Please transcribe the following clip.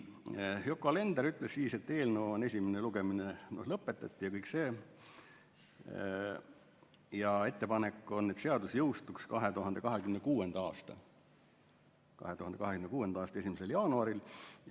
Yoko Alender ütles siis, et eelnõu esimene lugemine lõpetati ja ettepanek on, et seadus jõustuks 2026. aasta 1. jaanuaril.